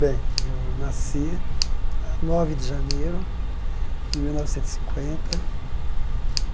Bem, eu nasci a nove de janeiro de mil novecentos e cinquenta.